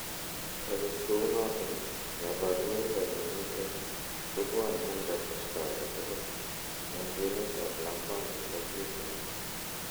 Agot kou noton, kaborunoik ab myonitok kobwani en kasarta agetugul en kwenet ab lakwandit ak yetunet